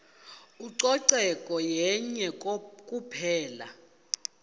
ucoceko yenye kuphela